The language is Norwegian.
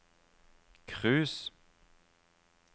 cruise